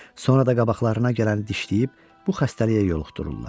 Sonra da qabaqlarına gələni dişləyib bu xəstəliyə yoluxdururlar.